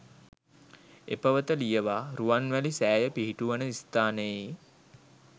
එපවත ලියවා රුවන්වැලි සෑය පිහිටුවන ස්ථානයේ